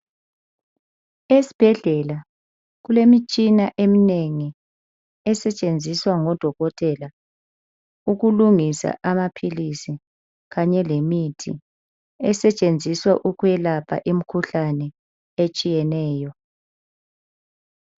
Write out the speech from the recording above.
Esibhedlela kulemitshina eminengi esetshenziswa ngodokotela ukulungisa amaphilizi kanye lemithi esetshenziswa ukwelapha imikhuhlane etshiyeneyo.